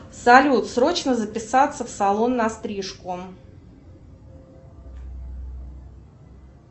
салют срочно записаться в салон на стрижку